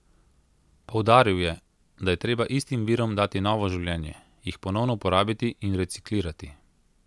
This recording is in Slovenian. Poudaril je, da je treba istim virom dati novo življenje, jih ponovno uporabiti in reciklirati.